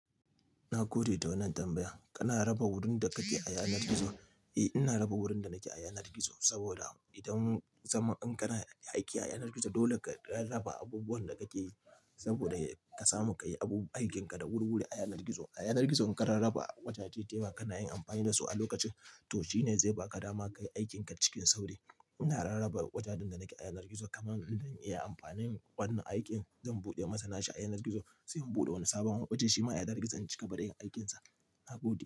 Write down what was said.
Na gode da wannan tambaya, Kana raba wurin da kake a yanar gizo? Eh, ina raba wurin da nake a yanar gizo saboda idan zaman in kana aiki ayanar gizo dole ka raba-raba abubuwan da kake yi, saboda ka samu kayi abu aikin ka da wuri wuri a yanar gizo. A yanar gizo in ka rarraba wajaje da yawa kana yin amfani da su a lokacin, to shine zai baka dama kayi aikin ka cikin sauri. Ina rarraba wajajen da nake a yanar gizo kamar in zan iya amfani wannan aikin zan buɗe masa nashi a yanar gizo, sai in buɗe wani sabon waje shima a yanar gizo in cika gaba da yin aikin sa. Na gode.